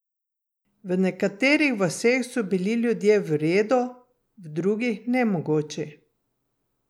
V nekaterih vaseh so bili ljudje v redu, v drugih nemogoči.